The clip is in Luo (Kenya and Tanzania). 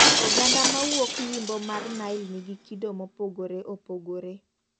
Oganda mawuok Yimmbo mar Nile nigi kido mopogore opogore.